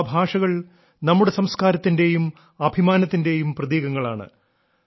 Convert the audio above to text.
ആ ഭാഷകൾ നമ്മുടെ സംസ്കാരത്തിന്റെയും അഭിമാനത്തിന്റെയും പ്രതീകങ്ങളാണ്